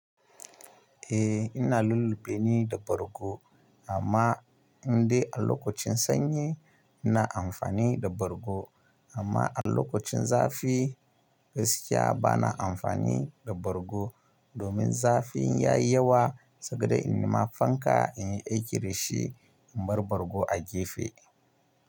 Eh ina lullube ni da bargo amma in dai a lokacin sanyi ina amfani da bargo amma a lokacin zafi gaskiya bana amfani da bargo domin zafin ya yi yawa, saboda in nima fanka in yi aiki da shi in bar bargo a gefe.